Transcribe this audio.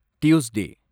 Tuesday